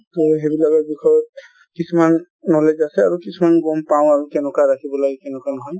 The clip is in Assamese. টো সেইবিলাকৰ বিষয়ে কিছুমান knowledge আছে আৰু কিছুমান গ'ম পাঁও আৰু কেনেকুৱা ৰাখিব লাগে কেনেকুৱা নহয় |